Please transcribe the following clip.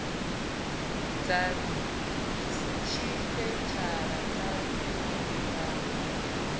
dza tshipeshala kha tshumelo dza